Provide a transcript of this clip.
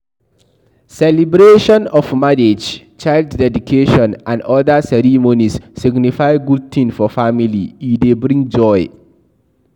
Celebration of marriage, child deedication and oda ceremonies signify good thing for family e dey bring joy